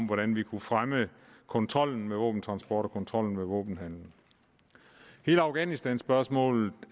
hvordan vi kunne fremme kontrollen med våbentransport og kontrollen med våbenhandel hele afghanistanspørgsmålet